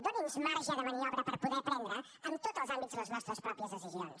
doni’ns marge de maniobra per poder prendre en tots els àmbits les nostres pròpies decisions